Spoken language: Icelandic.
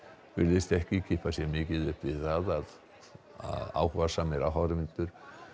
virtist ekki kippa sér mikið upp við það þótt áhugasamir áhorfendur